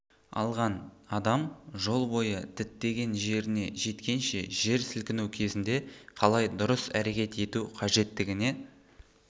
алған адам жол бойы діттеген жеріне жеткенше жер сілкіну кезінде қалай дұрыс әрекет ету қажеттігіне